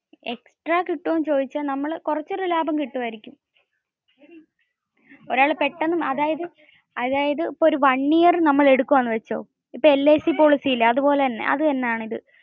extra കിട്ടുവോന്ന് ചോയ്ച്ച കുറച്ച ഒരു ലാഭം കിട്ടുവായിരിക്കും. അതായത് ഇപ്പോ ഒരു one year നമ്മൾ എടുക്കുവാന്ന് വെച്ചോ ഇപ്പോ LIC policy ഇല്ലേ അത്പോലെ തന്നെ.